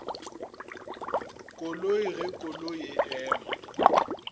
koloi ge koloi e ema